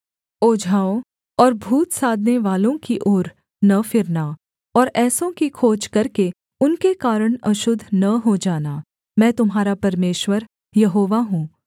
ओझाओं और भूत साधनेवालों की ओर न फिरना और ऐसों की खोज करके उनके कारण अशुद्ध न हो जाना मैं तुम्हारा परमेश्वर यहोवा हूँ